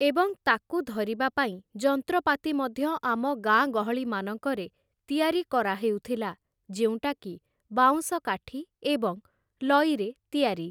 ଏବଂ ତାକୁ ଧରିବା ପାଇଁ ଯନ୍ତ୍ରପାତି ମଧ୍ୟ ଆମ ଗାଁ ଗହଳିମାନଙ୍କରେ ତିଆରି କରାହେଉଥିଲା । ଯେଉଁଟାକି ବାଉଁଶ କାଠି ଏବଂ ଲଇରେ ତିଆରି ।